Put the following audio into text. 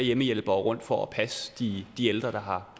hjemmehjælpere rundt for at passe de de ældre der har